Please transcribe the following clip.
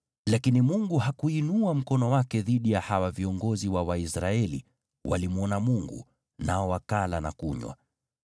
Lakini Mungu hakuinua mkono wake dhidi ya hawa viongozi wa Waisraeli; walimwona Mungu, nao wakala na kunywa.